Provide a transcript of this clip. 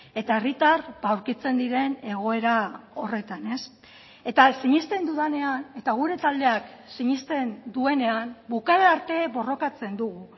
eta herritar aurkitzen diren egoera horretan eta sinesten dudanean eta gure taldeak sinesten duenean bukaera arte borrokatzen dugu